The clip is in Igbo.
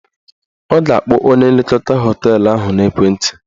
Ọ ga-akpọ onye nlekọta họteelụ ahụ n'ekwenti